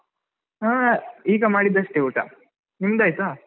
ಹಾ ಈಗ ಮಾಡಿದಷ್ಟೇ ಊಟ, ನಿಮ್ದಾಯ್ತಾ?